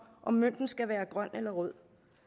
om mønten skal være grøn eller rød